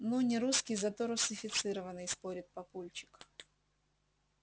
ну не русский зато русифицированный спорит папульчик